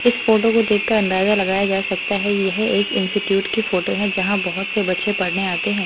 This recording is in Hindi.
इस फोटो को देखकर अंदाजा लगाया जा सकता है यह एक इंस्टिट्यूट की फोटो है जहां बहुत से बच्चे पढ़ने आते हैं।